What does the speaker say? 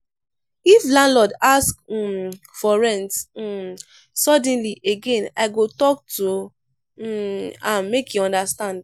if landlord ask um for rent um suddenly again i go talk to um am make e understand.